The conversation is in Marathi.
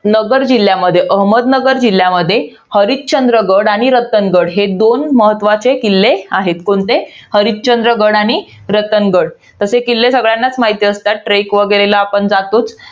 नगर जिल्ह्यामध्ये, अहमदनगर जिल्ह्यामध्ये हरिश्चंद्रगड आणि रतनगड हे दोन महत्वाचे किल्ले आहेत. कोणते? हरिश्चंद्रगड आणि रतनगड. तसे किल्ले सगळ्यांनाच माहित असतात. Trek वगैरेला आपण जातोच.